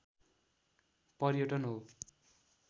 पर्यटन हो